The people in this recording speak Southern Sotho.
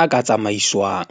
a ka tsamaiswang.